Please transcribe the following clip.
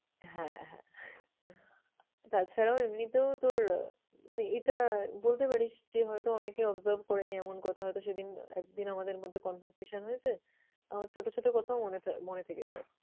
হ্যাঁ হ্যাঁ তাছাড়াও এমনিতেও তোর আহ মানে এটা বলতে পারিস যে, হয়তো অনেকে observe করেনি এমন কথা হয়তো সেদিন, একদিন আমাদের মধ্যে conversation হয়েছে। আমার ছোট ছোট কোথাও মনে থেকে যায়।